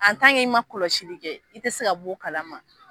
i ma kɔlɔsili kɛ i te se ka b'o kalama.